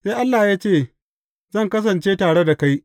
Sai Allah ya ce, Zan kasance da tare kai.